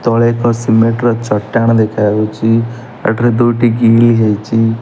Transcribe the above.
ତାପରେ ଏକ ସିମେଣ୍ଟ ର ଚଟାଣ ଦେଖାଯାଉଚି ଏଠାରେ ଦୁଇଟି ଗିନି ହେଇଚି।